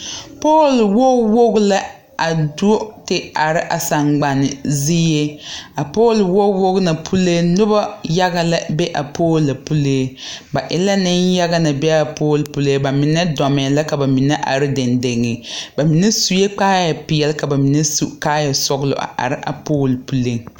Pool woge woge lɛ a do te are a sagbane zie a pool woge woge na puliŋ nobɔ yaga la be a poolo pulee ba e la neŋ yaga na be a poo pulee ba mine dɔmɛɛ la ka ba mine are deŋdeŋ ba mine suee kaayɛ peɛle ka ba mine su kaayɛ sɔglɔ a are a poolo ŋa puliŋ.